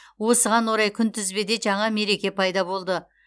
осыған орай күнтізбеде жаңа мереке пайда болды